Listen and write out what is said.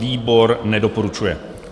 Výbor nedoporučuje.